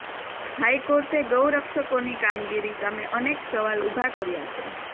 હાઇકોર્ટે ગૌરક્ષકોની કામગીરી સામે અનેક સવાલ ઊભા કર્યા છે